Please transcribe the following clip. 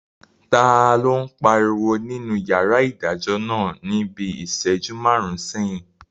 Taló n pariwo nínú yàrá ìdájọ́ náà ní bíi ìsẹ́jú máàrún sẹ́yìn?